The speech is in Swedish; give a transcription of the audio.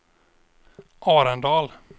Arendal